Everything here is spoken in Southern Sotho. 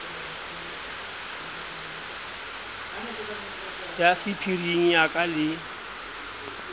ya sephiring ya ka le